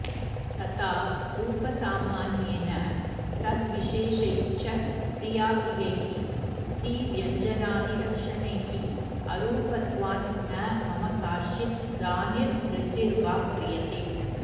तथा रूपसामान्येन तद्विशेषैश्च प्रियाप्रियैः स्त्रीव्यञ्जनादिलक्षणैः अरूपत्वान् न मम काचिद् धानिर्वृद्धिर्वा क्रियते